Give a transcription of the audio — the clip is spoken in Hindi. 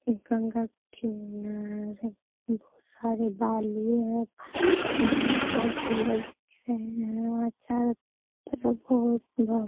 गंगा किनारे बहुत सारे बालुए हैं | पनिया बहुत सुन्दर दिख रहे हैं वहाँ चारो तरफ बहुत --